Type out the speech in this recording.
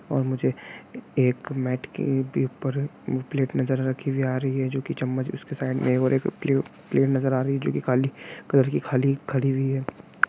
और मुझे एक मैट के पेपर प्लेट नजर रखी हुई नजर आ रही है जो कि चम्मच उसके साइड मे एक प्ले प्लेट नज़र आ रही हैजो की काली कॉलर की खाली नज़र आ रही है।